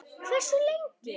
Hversu lengi?